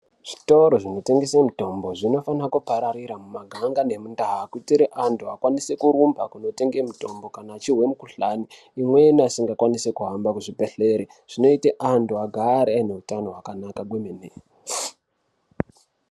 Zvitoro zvinotengese mitombo zvinofana kuparararira mumaganga nemundaa kuitire antu akwanise kurumba kunotenga mitombo achihwe mikhuhlani, imweni asingakwanise kuhamba kuchibhedhlere .Zvinoite antu agare aine utano hwakanaka kwemene.